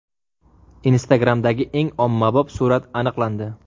Instagram’dagi eng ommabop surat aniqlandi.